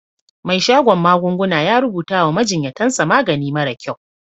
Mai shadon magunguna ya rubuta wa majinyatan sa magani mara kyau.